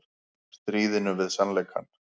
Stríðinu við sannleikann